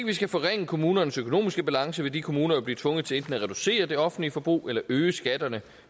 vi skal forringe kommunernes økonomiske balance vil de kommuner jo blive tvunget til enten at reducere det offentlige forbrug eller øge skatterne